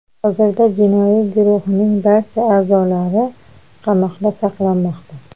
Hozirda jinoiy guruhning barcha a’zolari qamoqda saqlanmoqda.